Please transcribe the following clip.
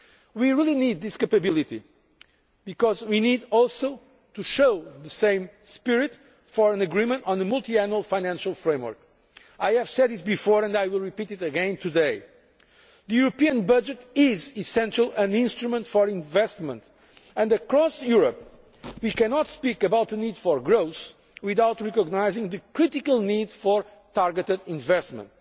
We really need this capability, because we also need the same spirit to reach agreement on the Multiannual Financial Framework. I have said it before and I will repeat it again today the European budget is essentially an instrument for investment and, across Europe, we cannot speak about the need for growth without recognising the critical need for targeted investment.